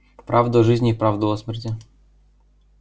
правду о жизни и правду о смерти